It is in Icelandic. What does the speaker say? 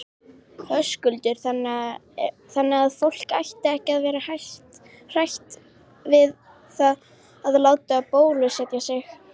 Höskuldur: Þannig að fólk ætti ekki að vera hrætt við það að láta bólusetja sig?